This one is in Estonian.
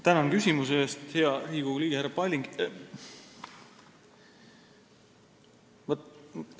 Tänan küsimuse eest, hea Riigikogu liige härra Palling!